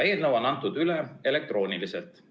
Eelnõu on antud üle elektrooniliselt.